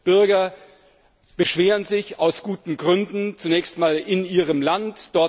Bürger beschweren sich aus guten Gründen, zunächst in ihrem Land.